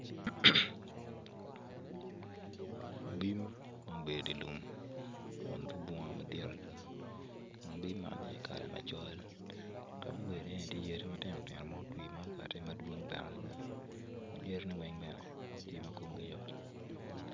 Abim mo bedo i lum kun tye bunga madwong adada kun abim man tye kala macol kama gubedo i ye ni tye yadi matinotino ma otwi ma okatin madwong bene yadi ni weng yat tye ma komgi yot.